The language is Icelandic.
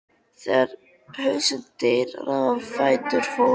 Þegar hausinn deyr ráða fætur för.